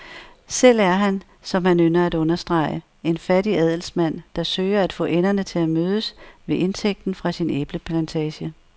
Selv er han, som han ynder at understrege, en fattig adelsmand, der søger at få enderne til at mødes ved indtægten fra sin æbleplantage.